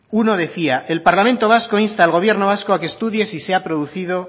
uno decía el parlamento vasco insta al gobierno vasco a que estudie si se ha producido